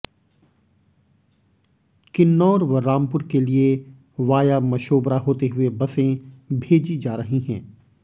किन्नौर व रामपुर के लिए वाया मशोबरा होते हुए बसें भेजी जा रही हैं